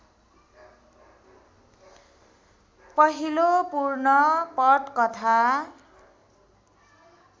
पहिलो पूर्ण पटकथा